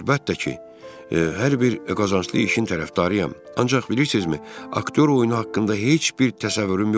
Mən əlbəttə ki, hər bir qazanclı işin tərəfdarıyam, ancaq bilirsinizmi, aktyor oyunu haqqında heç bir təsəvvürüm yoxdur.